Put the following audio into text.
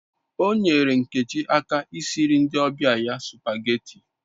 O nyere Nkechi aka I siri ndi obia ya supageti